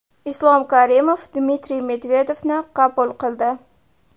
Islom Karimov Dmitriy Medvedevni qabul qildi.